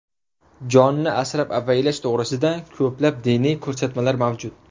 Jonni asrab-avaylash to‘g‘risida ko‘plab diniy ko‘rsatmalar mavjud.